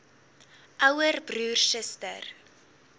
ouer broer suster